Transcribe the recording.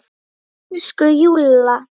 Elsku Júlla!